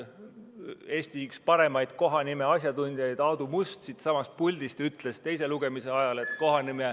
Eesti üks paremaid kohanimede asjatundjaid Aadu Must ütles siitsamast puldist teise lugemise ajal, et ...